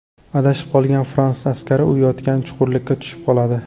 Adashib qolgan fransuz askari u yotgan chuqurlikka tushib qoladi.